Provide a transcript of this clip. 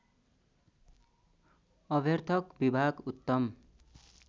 अभ्यर्थक विभाग उत्तम